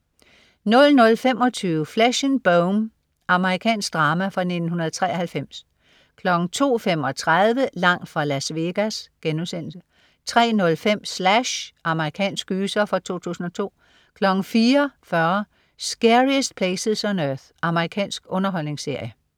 00.25 Flesh and Bone. Amerikansk drama fra 1993 02.35 Langt fra Las Vegas* 03.05 Slash. Amerikansk gyser fra 2002 04.40 Scariest Places on Earth. Amerikansk underholdningsserie